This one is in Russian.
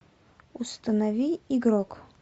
установи игрок